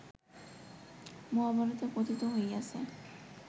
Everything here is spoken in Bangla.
মহাভারতে কথিত হইয়াছে